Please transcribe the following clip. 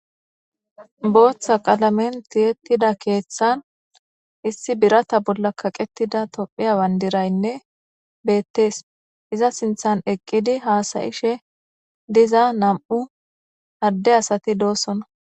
Booththa qalamen tiyettida keeththan issi birata bolla kaqetida tophiya bandiraynne beettees. Iza sinthan eqqidi haasayishe diza nam7u adde asati doosona.